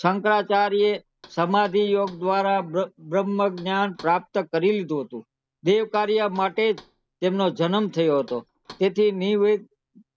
શંકરાચાર્ય એ સમાધિ યોગ દ્વારા બ્રહ્મ જ્ઞાન પ્રાપ્ત કરી લીધું હતું તે કાર્ય માટેજ તેમનો જન્મ થયો હતો તેથી નિવે